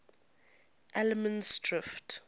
allemansdrift